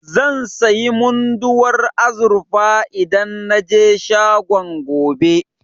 Zan sayi Munduwar azurfa idan na je shagon, gobe.